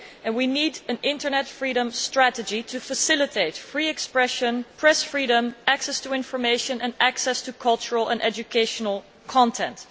We need an Internet freedom strategy to facilitate free expression, press freedom, access to information and access to cultural and educational content.